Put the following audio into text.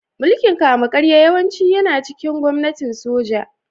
Mulkin kama-karya yawanci yana cikin gwamnatin soja